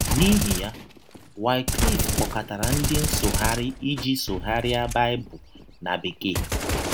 N’ihi ya, Wycliffe kpọkọtara ndị nsụgharị iji sụgharịa Baịbụl na Bekee.